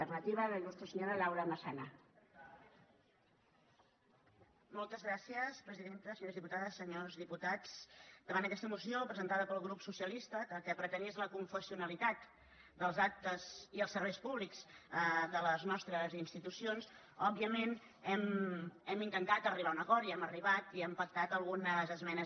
senyores diputades senyors diputats davant d’aquesta moció presentada pel grup socialista que el que pretenia és l’aconfessionalitat dels actes i els serveis públics de les nostres institucions òbviament hem intentat arribar a un acord i hi hem arribat i hem pactat algunes esmenes